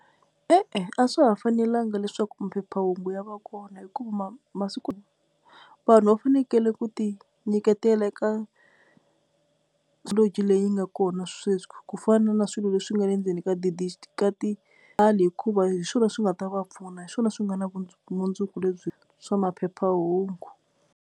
E-e a swa ha fanelanga leswaku maphephahungu ya va kona hikuva masiku vanhu va fanekele ku ti nyiketela eka leyi yi nga kona sweswi ku fana na swilo leswi nga le ndzeni ka ka ti hikuva hi swona swi nga ta va pfuna hi swona swi nga na vumundzuku lebyi swa maphephahungu.